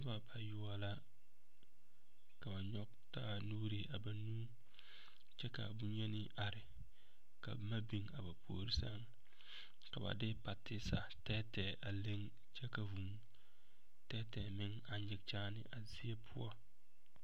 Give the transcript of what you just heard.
Noba bayoɔbo la ka ba nyɔge taa nuure a banuu kyɛ ka bonyeni are ka boma biŋ a ba puori sɛŋ ka de patisa tɛɛtɛɛ a leŋ kyɛ ka vuu tɛɛtɛɛ meŋ a nyige kyaane a zie poɔ.